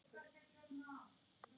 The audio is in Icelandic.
Líka inni í mér.